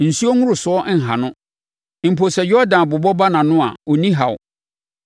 Nsuo nworosoɔ nha no; mpo sɛ Yordan bobɔ ba nʼano a, ɔnni ɔhaw.